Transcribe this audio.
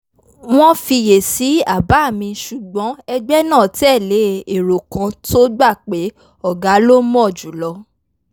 wọ́n fiyèsí àbá mi ṣùgbọ́n ẹgbẹ́ náà tẹ̀lé èrò kan tó gbà pé ọ̀gá ló mọ̀ jùlọ